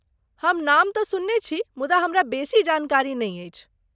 हम नाम तँ सुनने छी, मुदा हमरा बेसी जानकारी नहि अछि।